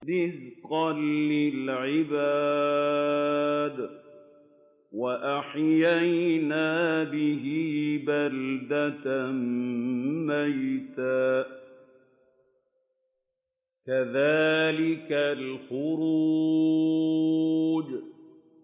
رِّزْقًا لِّلْعِبَادِ ۖ وَأَحْيَيْنَا بِهِ بَلْدَةً مَّيْتًا ۚ كَذَٰلِكَ الْخُرُوجُ